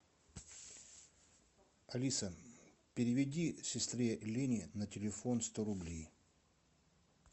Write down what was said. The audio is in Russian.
алиса переведи сестре лене на телефон сто рублей